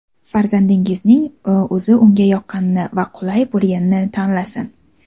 Farzandingizning o‘zi unga yoqqanini va qulay bo‘lganini tanlasin.